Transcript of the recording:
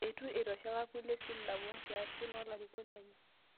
Eitu eitosheka kulie silamu o nkiasin oo larikok lenye